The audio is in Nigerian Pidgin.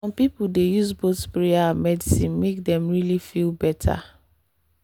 some people dey use both prayer and medicine make dem really feel better.